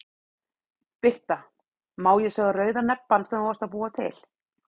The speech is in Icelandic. Birta: Má ég sá rauða nebbann sem þú varst að búa til?